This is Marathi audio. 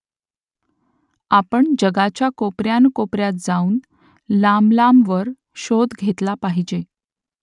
आपण जगाच्या कोपऱ्यान् कोपऱ्यात जाऊन लांबलांबवर शोध घेतला पाहिजे